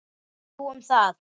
Þú um það.